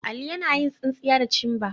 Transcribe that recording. Ali yana yin tsinsinya da cimbar.